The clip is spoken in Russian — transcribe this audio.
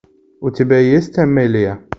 у тебя есть амелия